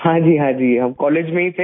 हाँ जी हाँ जी हम कॉलेज में ही थे